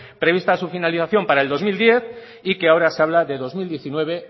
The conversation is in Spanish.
prevista su finalización para el dos mil diez y que ahora se habla de dos mil diecinueve